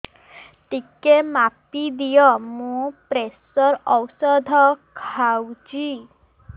ଟିକେ ମାପିଦିଅ ମୁଁ ପ୍ରେସର ଔଷଧ ଖାଉଚି